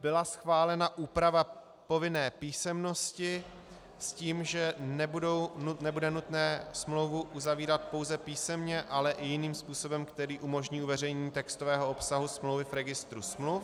Byla schválena úprava povinné písemnosti s tím, že nebude nutné smlouvu uzavírat pouze písemně, ale i jiným způsobem, který umožní uveřejnění textového obsahu smlouvy v registru smluv.